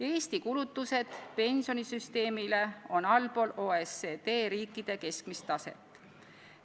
Eesti kulutused pensionisüsteemile on allpool OECD riikide keskmist taset.